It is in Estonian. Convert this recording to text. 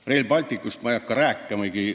Rail Balticust ma ei hakka rääkimagi.